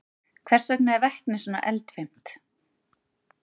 Hvers vegna er vetni svona eldfimt?